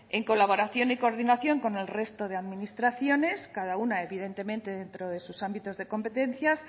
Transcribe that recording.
en colaboración y coordinación con el resto de administraciones cada una evidentemente dentro de sus ámbitos de competencias